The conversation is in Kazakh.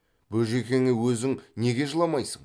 бөжекеңе өзің неге жыламайсың